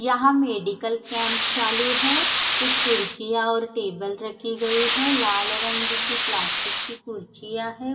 यहाँ medical camp चालू है कुछ कुर्चिया और टेबल रखे गए है लाल रंग के प्लास्टिक की कुर्चिया है।